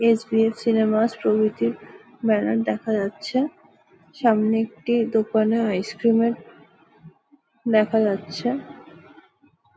SBF. Cinema প্রভৃতির banner দেখা যাচ্ছে। সামনে একটি দোকানের আইসক্রিম -এর দেখা যাচ্ছে।